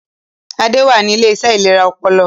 Adé wà ní Iléeṣẹ́ ìlera ọpọlọ